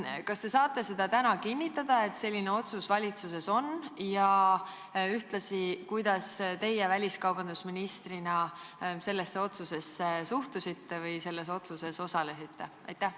Kas te saate täna kinnitada, et selline otsus on valitsuses tehtud, ja ühtlasi selgitage, kuidas teie väliskaubandusministrina sellesse otsusesse suhtusite või selle otsuse tegemises osalesite?